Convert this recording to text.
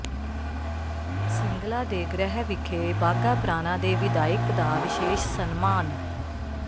ਸਿੰਗਲਾ ਦੇ ਗ੍ਰਹਿ ਵਿਖੇ ਬਾਘਾ ਪੁਰਾਣਾ ਦੇ ਵਿਧਾਇਕ ਦਾ ਵਿਸ਼ੇਸ਼ ਸਨਮਾਨ